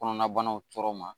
Kɔnɔnabanaw tɔɔrɔ ma